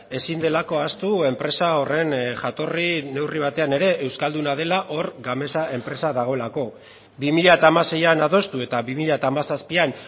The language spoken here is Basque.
ezin delako ahaztu enpresa horren jatorri neurri batean ere euskalduna dela hor gamesa enpresa dagoelako bi mila hamaseian adostu eta bi mila hamazazpian